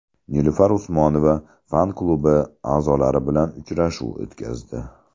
Nilufar Usmonova fan-klubi a’zolari bilan uchrashuv o‘tkazdi.